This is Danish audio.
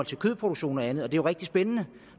til kødproduktion og andet og det er jo rigtig spændende